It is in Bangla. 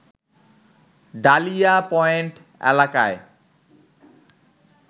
ডালিয়া পয়েন্ট এলাকায়